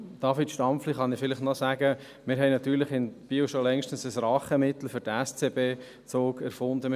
David Stampfli kann ich sagen, dass wir in Biel natürlich längst ein Rachemittel für den SCB-Zug gefunden haben: